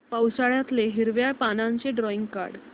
पावसाळ्यातलं हिरव्या पानाचं ड्रॉइंग काढ